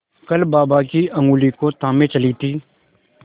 कल बाबा की ऊँगली को थामे चली थी